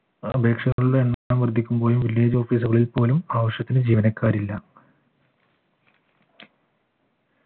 അപേക്ഷകരുടെ എണ്ണം വർധിക്കുമ്പോഴും village office കളിൽ പോലും ആവശ്യത്തിന് ജീവനക്കാരില്ല